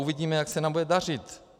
Uvidíme, jak se nám bude dařit.